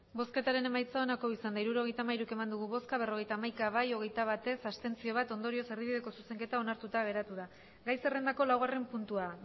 hirurogeita hamairu eman dugu bozka berrogeita hamaika bai hogeita bat ez bat abstentzio ondorioz erdibideko zuzenketa onartuta geratu da gai zerrendako laugarren puntua